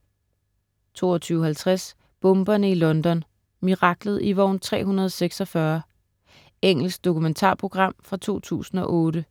22.50 Bomberne i London. Miraklet i vogn 346. Engelsk dokumentarprogram fra 2008.